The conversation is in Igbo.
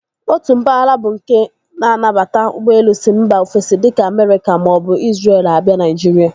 Otu mpaghara bụ nke na-anabata ụgbọelu si mba ofesi dịka Amerịka maọbụ Izrel a bịa Naijiria.